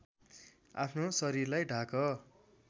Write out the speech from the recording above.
आफ्नो शरीरलाई ढाक